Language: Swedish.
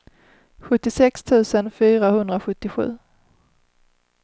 sjuttiosex tusen fyrahundrasjuttiosju